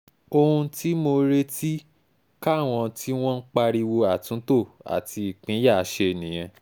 ohun tí mo retí káwọn tí wọ́n ń pariwo àtúntò àti ìpínyà ṣe nìyẹn